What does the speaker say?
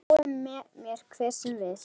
Lái mér hver sem vill.